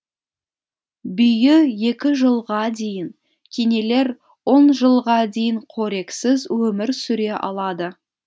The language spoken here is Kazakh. бүйі екі жылға дейін кенелер он жылға дейін қорексіз өмір сүре алады